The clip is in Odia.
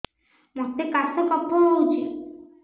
ମୋତେ କାଶ କଫ ହଉଚି